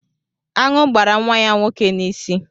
Aṅụ gbara nwa ya nwoke n'isi.